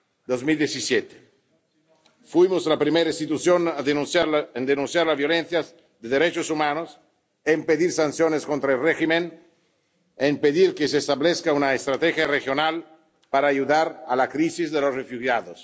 2017. Fuimos la primera institución en denunciar la violación de derechos humanos, en pedir sanciones contra el régimen, en pedir que se establezca una estrategia regional para ayudar en la crisis de los refugiados.